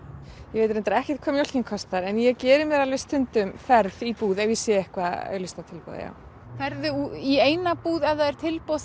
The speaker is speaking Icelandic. ég veit ekki hvað mjólkin kostar en ég geri mér alveg stundum ferð í búð ef ég sé eitthvað auglýst á tilboði já ferðu í eina búð ef það er tilboð